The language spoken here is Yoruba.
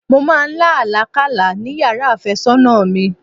Mọ máa lá àlá kálá ni yàrá àfẹ́sọ́nà mi.